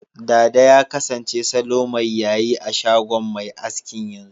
Dada ya kasance salo mai yayi a shagon mai askin, yanzu.